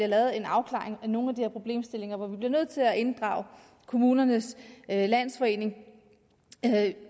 lavet en afklaring af nogle af de her problemstillinger vi bliver nødt til at inddrage kommunernes landsforening